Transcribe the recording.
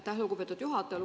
Aitäh, lugupeetud juhataja!